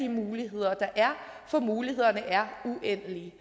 muligheder der er for mulighederne er uendelige